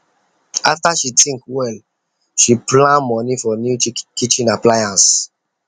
after she think well she plan money for new kitchen appliance